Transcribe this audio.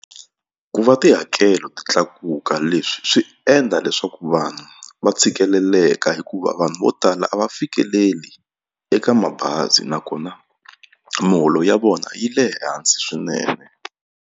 Ku va tihakelo ti tlakuka leswi swi endla leswaku vanhu va tshikeleleka hikuva vanhu vo tala a va fikeleli eka mabazi nakona miholo ya vona yi le hansi swinene.